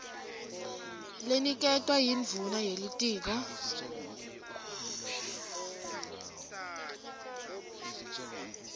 leniketwa yindvuna yelitiko